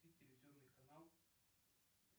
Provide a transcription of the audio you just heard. телевизионный канал